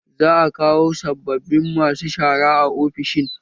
Za a kawo sabbabin masu shara a ofishin